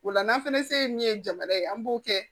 O la n'an fɛnɛ se min ye jamana ye an b'o kɛ